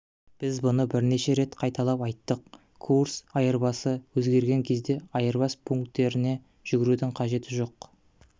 біз бұны бірнеше рет қайталап айттық курс айырбасы өзгерген кезде айырбас пункттеріне жүгірудің қажеті жоқ